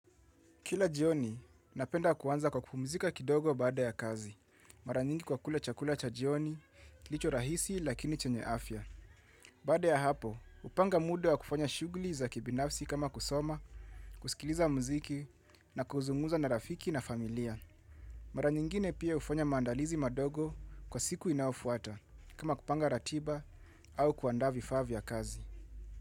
Kila jioni napenda kuanza kwa kupumzika kidogo baada ya kazi. Mara nyingi kwa kula chakula cha jioni, kilicho rahisi lakini chenye afya. Baada ya hapo, hupanga muda wa kufanya shugli za kibinafsi kama kusoma, kusikiliza mziki na kuzungumza na rafiki na familia. Mara nyingine pia hufanya maandalizi madogo kwa siku inaofuata, kama kupanga ratiba au kuandaa vifaa vya kazi.